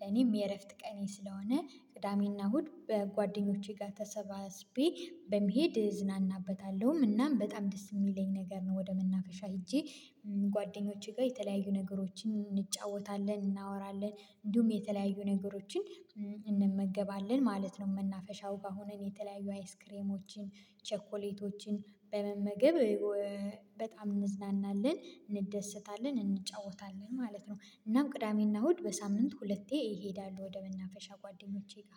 ለኔም የእረፍት ቀኔ ስለሆነ ቅዳሜና እሁድ በጓደኞቼ ጋር ተሰባስቤ በመሄድ እዝናናበታለሁም እናም በጣም ደስ የሚለኝ ነገር ነው። ወደ መናፈሻ ሄጄ። ጓደኞቼ ጋር የተለያዩ ነገሮችን እንጫወታለን እናወራለን እንዲሁም የተለያዩ ነገሮችን እንመገባለን ማለት ነው። መናፈሻው ጋር ሆነን የተለያዩ አይስክሬሞችን ቸኮሌቶችን በመመገብ እ በጣም እንዝናናለን እንደሰታለን እንጫወታለን ማለት ነው። እናም ቅዳሜና እሁድ በሳምንት ሁለቴ እሄዳለሁ። ወደ መናፈሻ ጓደኞቼ ጋ